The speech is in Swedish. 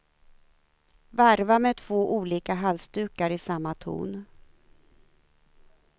Varva med två olika halsdukar i samma ton.